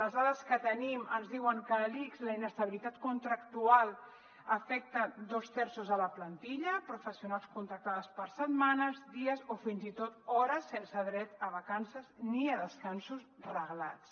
les dades que tenim ens diuen que a l’ics la inestabilitat contractual afecta dos terços de la plantilla professionals contractades per setmanes dies o fins i tot hores sense dret a vacances ni a descansos reglats